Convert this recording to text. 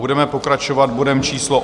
Budeme pokračovat bodem číslo